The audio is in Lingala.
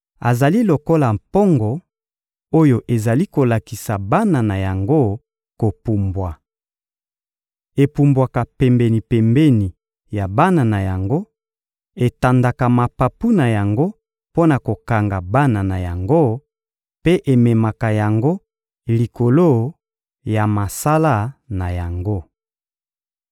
Azali lokola mpongo oyo ezali kolakisa bana na yango kopumbwa. Epumbwaka pembeni-pembeni ya bana na yango, etandaka mapapu na yango mpo na kokanga bana na yango, mpe ememaka yango likolo ya masala na yango.